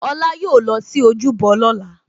Olá yóò lọ sí ojúbọ lóla